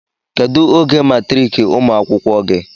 kedu oge matriki umuakwụkwọ gi